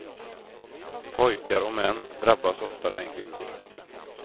Pojkar och män drabbas oftare än kvinnor.